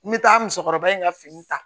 N bɛ taa musokɔrɔba in ka fini ta